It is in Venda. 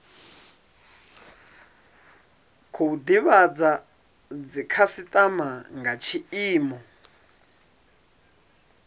khou divhadza dzikhasitama nga tshiimo